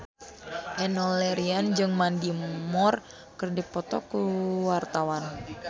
Enno Lerian jeung Mandy Moore keur dipoto ku wartawan